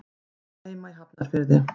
Hún á heima í Hafnarfirði.